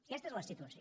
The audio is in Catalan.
aquesta és la situació